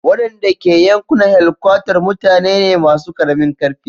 Wadanda ke yankunan helkwatar mutane ne masu karamin karfi.